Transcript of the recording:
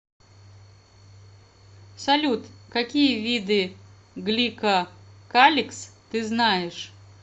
салют какие виды гликокаликс ты знаешь